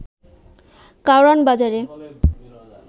কারওয়ান বাজারে